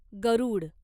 गरुड